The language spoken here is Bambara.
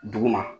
Dugu ma